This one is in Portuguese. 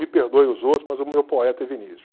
Me perdoem os outros, mas o meu poeta é Vinícius.